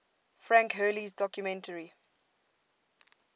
frank hurley's documentary